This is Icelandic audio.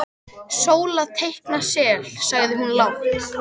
Sóla teikna sel, sagði hún lágt.